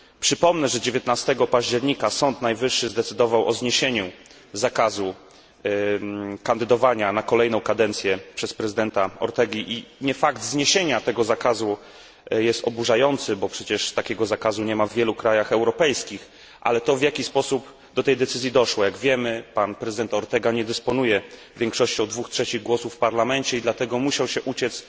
Przypomnę, że 19 października Sąd Najwyższy zdecydował o zniesieniu zakazu kandydowania na kolejną kadencję przez prezydenta Ortegę i nie fakt zniesienia tego zakazu jest oburzający, bo przecież takiego zakazu nie ma w wielu krajach europejskich, ale to, w jaki sposób do tej decyzji doszło. Jak wiemy pan prezydent Ortega nie dysponuje większością dwóch trzecich głosów w Parlamencie i dlatego musiał się uciec